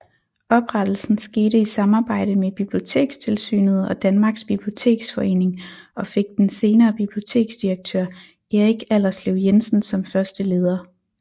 Oprettelsen skete i samarbejde mellem Bibliotekstilsynet og Danmarks Biblioteksforening og fik den senere biblioteksdirektør Erik Allerslev Jensen som første leder